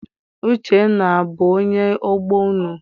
Uchenna abụ onye ọgbọ unu?